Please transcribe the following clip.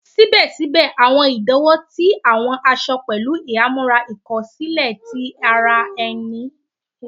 Síbè síbè, àwọn ìdíwọ̀n ti àwọn aṣọ pẹ̀lú ìhámọ́ra ìkó sílè ti ara ẹní